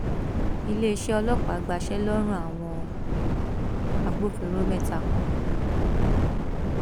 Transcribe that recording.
iléeṣẹ ọlọpàá gbaṣẹ lọrùn àwọn agbófinró mẹta kan